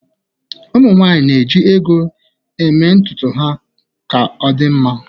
ụmụ nwanyị na-eji ego eme ntutu na-eme ka ọ dị mma